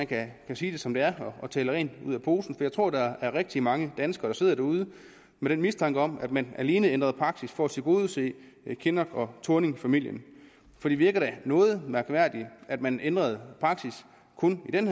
kan sige det som det er og tale rent ud af posen jeg tror at der er rigtig mange danskere der sidder derude med en mistanke om at man alene ændrede praksis for at tilgodese kinnock thorning familien for det virker da noget mærkværdigt at man ændrede praksis kun i den